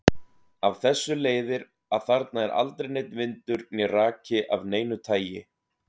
Af þessu leiðir að þarna er aldrei neinn vindur né raki af neinu tagi.